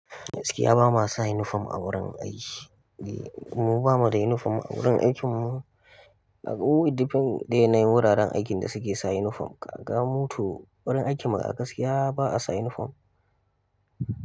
Gaskiya ba ma sa uniform a wurin aiki. Eh mu ba mu da uniform a wurin aikin mu. Ka ga mu it defend da yanayin wuraren aikin da suke sa uniform. Ka ga mu to wurin aikin mu a gaskiya ba'a sa uniform.